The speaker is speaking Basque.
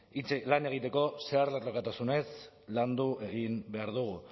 lan egiteko zeharlerrotasunez landu egin behar du